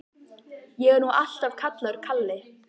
Ég er nú alltaf kallaður Kalli.